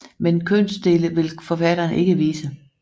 Men kønsdele vil forfatteren ikke vise